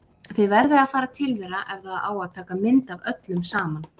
Þið verðið að fara til þeirra ef það á að taka mynd af öllum saman!